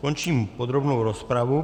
Končím podrobnou rozpravu.